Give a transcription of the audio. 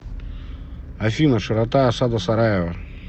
афина широта осада сараева